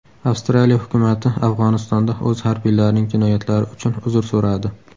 Avstraliya hukumati Afg‘onistonda o‘z harbiylarining jinoyatlari uchun uzr so‘radi.